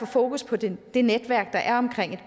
fokus på det det netværk der er omkring et